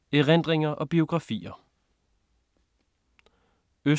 Erindringer og biografier